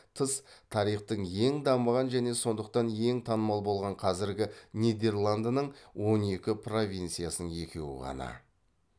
тыс тарихтың ең дамыған және сондықтан ең танымал болған қазіргі нидерландының он екі провинциясының екеуі ғана